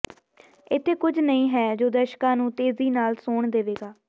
ਇੱਥੇ ਕੁਝ ਨਹੀਂ ਹੈ ਜੋ ਦਰਸ਼ਕਾਂ ਨੂੰ ਤੇਜ਼ੀ ਨਾਲ ਸੌਣ ਦੇਵੇਗਾ